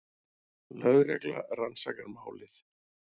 Lögregla rannsakar málið